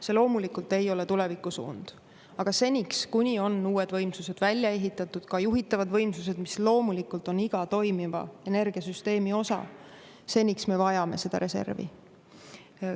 See loomulikult ei ole tulevikusuund, aga seniks, kuni on uued võimsused välja ehitatud, ka juhitavad võimsused, mis loomulikult on iga toimiva energiasüsteemi osa, seniks me vajame seda reservi.